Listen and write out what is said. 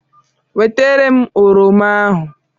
Wetara m oroma ahụ.